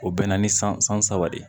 O bɛ na ni san san saba de ye